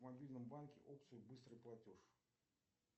в мобильном банке опцию быстрый платеж